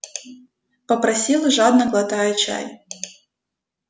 попросил жадно глотая чай